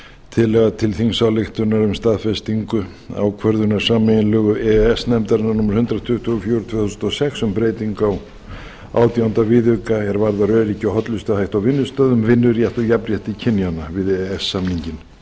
tillaga til þingsályktunar um staðfestingu ákvörðunar sameiginlegu e e s nefndarinnar númer hundrað tuttugu og fjögur tvö þúsund og sex um breytingu á átjánda viðauka er varða öryggi og hollustuhætti á vinnustöðum vinnurétt og jafnrétti kynjanna við e e s samninginn